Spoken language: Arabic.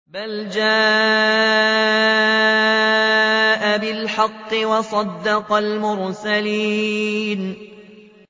بَلْ جَاءَ بِالْحَقِّ وَصَدَّقَ الْمُرْسَلِينَ